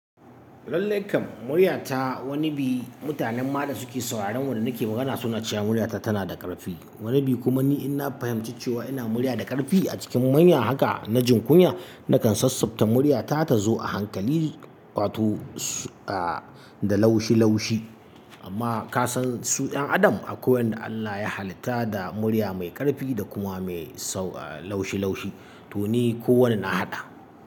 Muryata wani bi mutanen ma da suke sauraron wanda nake magana suna cewa muryata tana da ƙarfi. Wani bi kuma ni in na fahimci cewa ina murya da ƙarfi a cikin manya haka na jin kunya nakan sassabta muryata ta zo a hankali watosu a da laushi laushi. Amma ka san su ƴan adam akwai wanda Allah ya halitta da murya mai ƙarfi da kuma mai sau laushi laushi to ni kowanne na haɗa.